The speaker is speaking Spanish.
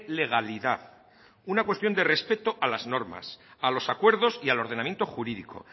legalidad una cuestión de respeto a las normas a los acuerdos y al ordenamiento jurídico